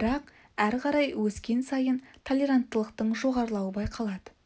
бірақ әрі қарай өскен сайын толеранттылықтың жоғарылауы байқалады